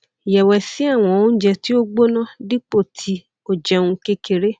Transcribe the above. yẹwẹsi awọn ounjẹ ti o gbona dipo ti o jẹun kekere